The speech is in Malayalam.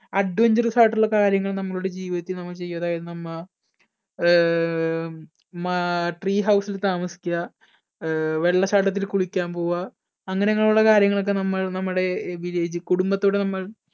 adventures ആയിട്ടുള്ള കാര്യങ്ങൾ നമ്മളുടെ ജീവിതത്തിൽ നമ്മൾ ചെയ്യുക, എന്ന നമ്മ ആഹ് മാ tree house ൽ താമസിക്കുക, ആഹ് വെള്ളച്ചാട്ടത്തിൽ കുളിക്കാൻ പോവുക അങ്ങനെ അങ്ങനെ ഉള്ള കാര്യങ്ങളൊക്കെ നമ്മൾ നമ്മളുടെ കുടുംബത്തോട് നമ്മൾ